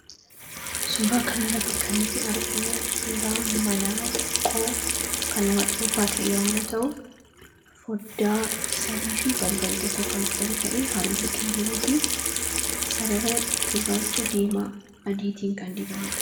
Suuraa kanarratti kan nuti arginu suuraa manaa xiqqoo kan nama dhuunfaa ta'e yommuu ta'u, foddaa sadiifi balbala tokko kan qabu ta'ee halluu keelloofi sarara gurraacha diimaa adiitiin kan dibamedha.